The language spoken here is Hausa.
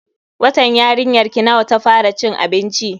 Watan yarinyarki nawa ta fara cin abinci?